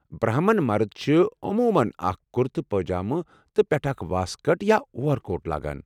برہمن مرد چھِ اُموٗمَن اکھ کُرتہٕ پٲجامہٕ تہٕ پیٹھہٕ اکھ واسكٹ یا اورکوٹ لاگان۔